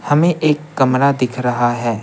हमें एक कमरा दिख रहा है।